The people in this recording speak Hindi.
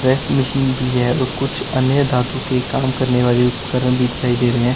इस मशीन भी है और कुछ अन्य धातु के काम करने वाले उपकरण दिखाई दे रहे हैं।